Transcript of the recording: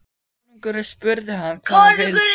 Konungurinn spurði hann hvað það skyldi.